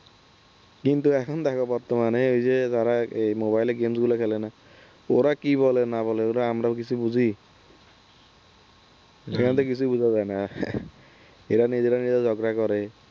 কিন্তু এখন দেখো বর্তমানে ওই যে যারা ওই Mobile এ games গুলো খেলে না ওরা কি বলে না বলে আমরা কি কিছু বুঝি? এখন তো কিছু বোঝা যায় না এরা নিজেরা নিজেরা ঝগড়া করে